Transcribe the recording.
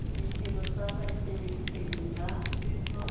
ditiro tsa baeteledipele ba setso